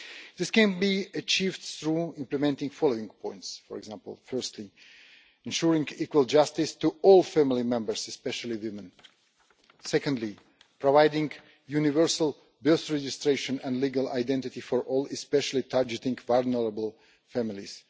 This can be achieved through implementing the following points for example, firstly ensuring equal justice to all family members, especially women secondly, providing universal birth registration and legal identity for all, especially targeting vulnerable families